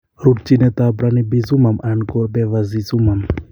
Rutchinetab Ranibizumab anan ko Bevacizumam